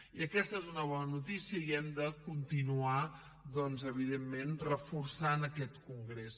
i aquesta és una bona notícia i hem de continuar evidentment reforçant aquest congrés